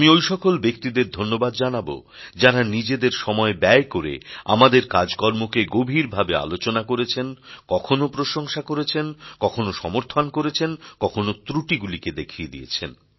আমি ঐ সকল ব্যক্তিদের ধন্যবাদ জানাবো যাঁরা নিজেদের সময় ব্যয় করে আমাদের কাজকর্মকে গভীরভাবে আলোচনা করেছেন কখনও প্রশংসা করেছেন কখনো সমর্থন করেছেন কখনো ত্রুটিগুলিকে দেখিয়ে দিয়েছেন